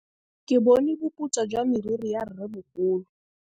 Ke bone boputswa jwa meriri ya rrêmogolo.